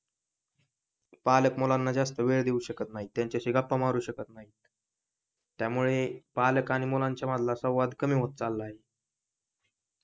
पालक मुलांना जास्त वेळ देऊ शकत नाही त्यांच्याशी गप्पा मारू शकत नाही त्यामुळे पालक आणि मुलांच्या मधला संवाद कमी होत चाललाय